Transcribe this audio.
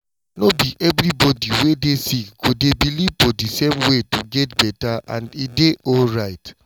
no be everybody wey dey sick go dey believe for di same way to get better and e dey alright.